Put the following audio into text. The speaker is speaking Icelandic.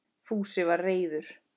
Fúsi var reiður.